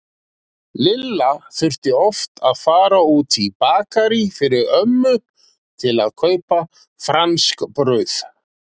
Lilla þurfti oft að fara út í Bakarí fyrir ömmu til að kaupa franskbrauð.